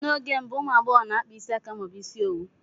N'oge mbụ, ụmụ agbọghọ na-akpa isi aka ma ọ bụ ịsị owu